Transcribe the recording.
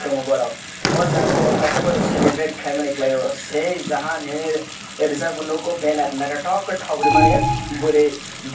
tongo borok o jaga o kaisa borok celebrate kelaimani kelai o sei Jahan hinui rijak bo nogo benner naitotok kei tok rimani boroi dui.